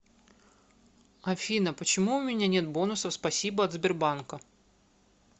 афина почему уменя нет бонусов спасибо от сбербанка